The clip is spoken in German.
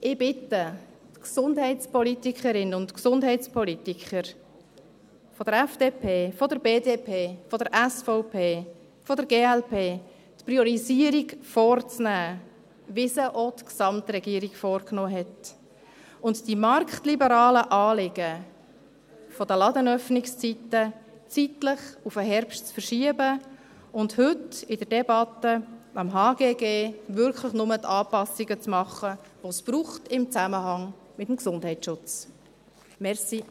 – Ich bitte die Gesundheitspolitikerinnen und Gesundheitspolitiker der FDP, der BDP, der SVP und der glp, die Priorisierung so vorzunehmen, wie sie auch die Gesamtregierung vorgenommen hat, das marktliberale Anliegen betreffend die Ladenöffnungszeiten zeitlich auf den Herbst zu verschieben und heute in der Debatte des HGG wirklich nur diejenigen Anpassungen zu machen, die es im Zusammenhang mit dem Gesundheitsschutz braucht.